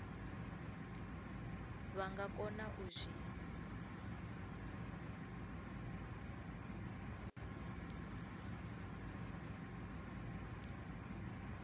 vha nga kona u zwi